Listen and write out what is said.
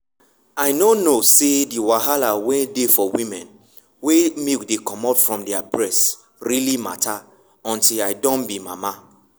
i nor know say the wahala wen dey for women wen milk dey comit from their breast really matter until i doh be mama.